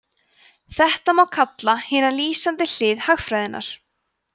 þetta má kalla hina lýsandi hlið hagfræðinnar